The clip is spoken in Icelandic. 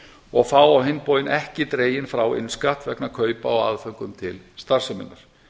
og fá á hinn bóginn ekki dreginn frá innskatt vegna kaupa á aðföngum til starfseminnar